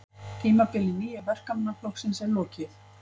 Tímabili Nýja Verkamannaflokksins er lokið